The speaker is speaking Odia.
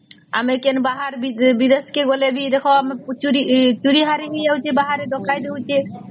ଆମେ କେନେ ବାହାର ବିଧେଷ କେ ଗଲେ ବି ଦେଖ ଚୋରି ହରି ହେଇ ଯାଉଛେ ବାହାରେ ଡକାୟତ ହଉଛେ